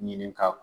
Ɲini ka